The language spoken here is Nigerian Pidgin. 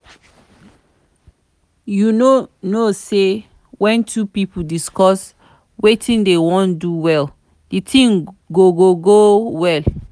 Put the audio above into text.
you no know say when two people discuss wetin dey wan do well the thing go go go go well